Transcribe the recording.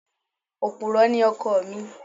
Òpùrọ́ ni ọkọ mi.